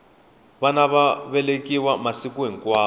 vana va velekiwa masiku hinkwawo